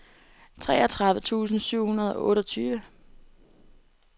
treogtredive tusind syv hundrede og otteogtyve